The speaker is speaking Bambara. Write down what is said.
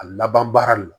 A laban baara de la